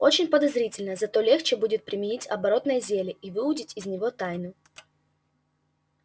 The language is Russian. очень подозрительно зато легче будет применить оборотное зелье и выудить из него тайну